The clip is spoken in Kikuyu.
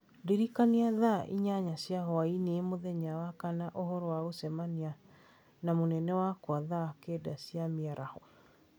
Ndirikanaia thaa inyanya cia hwaĩ-inĩ mũthenya wa makana ũhoro wa gũcemania na mũnene wakwa thaa kenda cia mĩaraho